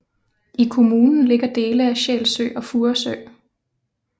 I kommunen ligger dele af Sjælsø og Furesø